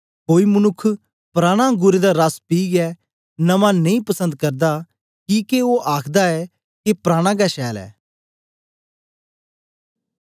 कोई मनुक्ख पुराना अंगुरें दा रस पीयै नमां नेई पसंद करदा किके ओ आखदा ऐ के पराना गै छैल ऐ